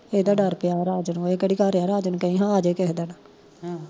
ਏਦਾ ਡਰ ਪਿਆ ਰਾਜ ਨੂੰ ਏ ਕਿਹੜਾ ਘਰ ਆ ਰਾਜ ਨੂੰ ਕਹੀਂ ਹਾਂ ਆਜੇ ਕਿਸੇ ਦਿਨ